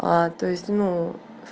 то есть ну